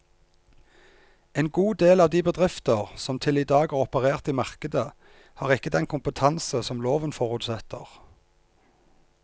En god del av de bedrifter som til i dag har operert i markedet, har ikke den kompetanse som loven forutsetter.